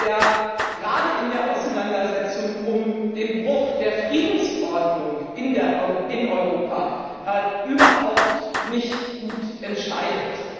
der gerade in der Auseinandersetzung über den Bruch der Friedensordnung in Europa überhaupt nicht gut entscheidet.